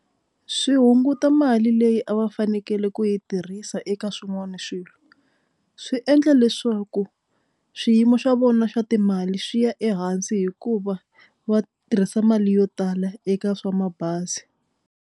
Swi hunguta mali leyi a va fanekele ku yi tirhisa eka swin'wana swilo swi endla leswaku swiyimo swa vona swa timali swi ya ehansi hikuva va tirhisa mali yo tala eka swa mabazi.